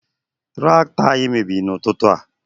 Tractọ anyị mebiri na ụtụtụ a